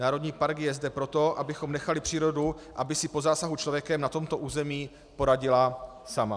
Národní park je zde proto, abychom nechali přírodu, aby si po zásahu člověkem na tomto území poradila sama.